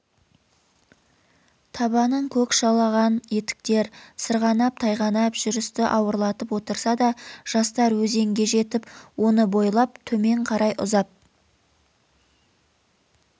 табанын көк жалаған етіктер сырғанап тайғанап жүрісті ауырлатып отырса да жастар езенге жетіп оны бойлап төмен қарай ұзап